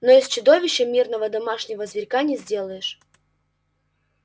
но из чудовища мирного домашнего зверька не сделаешь